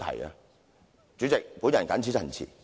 代理主席，我謹此陳辭。